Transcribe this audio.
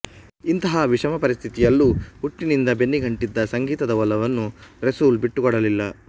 ಇಂತಹ ವಿಷಮಪರಿಸ್ಥಿತಿಯಲ್ಲೂ ಹುಟ್ಟಿನಿಂದ ಬೆನ್ನಿಗಂಟಿದ್ದ ಸಂಗೀತದ ಒಲವನ್ನು ರೆಸೂಲ್ ಬಿಟ್ಟಿಕೊಡಲಿಲ್ಲ